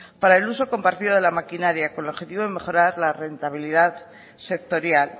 para el uso compartido de las maquinarias con el objetivo de mejorar la rentabilidad sectorial